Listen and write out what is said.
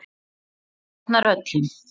Dyrnar voru opnar öllum.